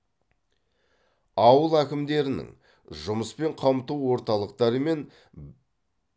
ауыл әкімдерінің жұмыспен қамту орталықтарымен